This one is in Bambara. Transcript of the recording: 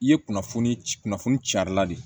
I ye kunnafoni ci kunfili carila de